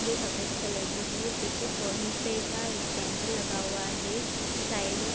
जो सफ़ेद कलर की है पीछे फ़ोन पे का स्कैनर लगा हुआ है साइड में --